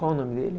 Qual o nome dele?